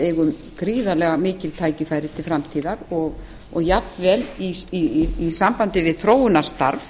eigum gríðarlega mikil tækifæri til framtíðar og jafnvel í sambandi við þróunarstarf